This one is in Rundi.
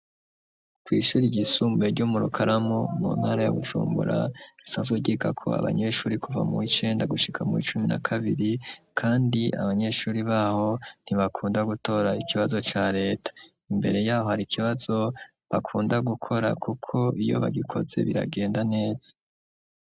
kw’ishuri ryisumbuye ryo murukaramu mu ntara ya bujumbura risanzwe ryigako abanyeshuri kuva mu w’icenda gushika mu w’icumi na kabiri, kandi abanyeshuri baho ntibakunda gutora ikibazo ca leta ,imbere yaho har’ ikibazo bakunda gukora kuko iyo bagikoze biragenda neza.